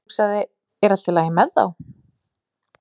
Ég hugsaði, er í lagi með þá?